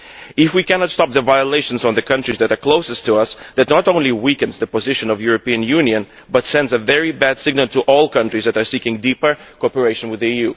If we cannot stop the violations in the countries that are closest to us, that not only weakens the position of the European Union but also sends a very bad signal to all countries that are seeking deeper cooperation with the